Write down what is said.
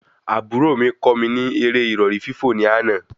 Àbúrò mí kọ́ mi eré ìrọ̀rí fífò ní àna